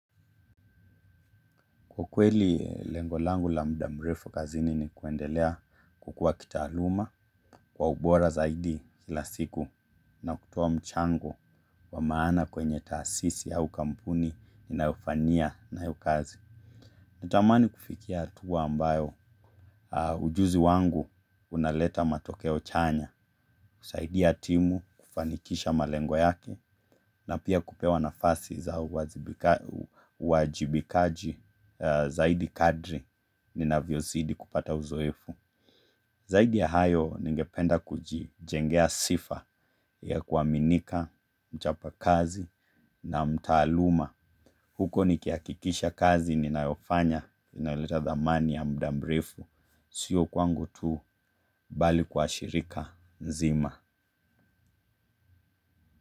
Kwa kweli lengo langu la muda mrefu kazini ni kuendelea kukua kitaaluma kwa ubora zaidi kila siku na kutoa mchango wa maana kwenye taasisi au kampuni ninayofanyia nayo kazi. Natamani kufikia hatua ambayo ujuzi wangu unaleta matokeo chanya kusaidia timu kufanikisha malengo yake na pia kupewa nafasi za uwajibikaji zaidi kadri ninavyozidi kupata uzoefu. Zaidi ya hayo ningependa kujijengea sifa ya kuaminika, mchapakazi na mtaaluma. Huko nikihakikisha kazi ninayofanya, inaleta thamani ya muda mrefu, sio kwangu tu bali kwa shirika nzima.